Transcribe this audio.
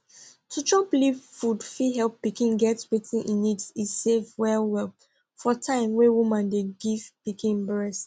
to chop leaf food fit help pikin get wetin e need e safe wellwell for time wey womn de give pikin breast